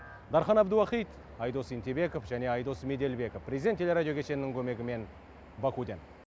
дархан әбдуахит айдос ентебеков айдос меделбеков президент телерадио кешенінің көмегімен бакуден